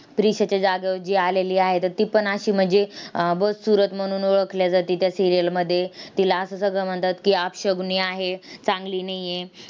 प्रिशाच्या जागेवर जी आलेली आहे, तर ती पण अशी म्हणजे अह म्हणून ओळखल्या जाते त्या serial मध्ये. तिला असं सगळं म्हणतात की, अपशकुनी आहे, चांगली नाही आहे.